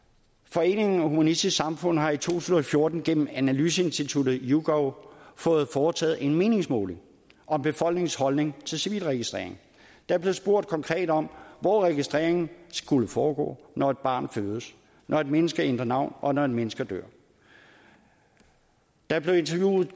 foreningen humanistisk samfund har i to tusind og fjorten gennem analyseinstituttet yougov fået foretaget en meningsmåling om befolkningens holdning til civilregistrering der blev spurgt konkret om hvor registreringen skulle foregå når et barn fødes når et menneske ændrer navn og når et menneske dør der blev interviewet